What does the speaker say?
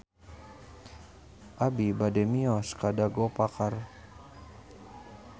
Abi bade mios ka Dago Pakar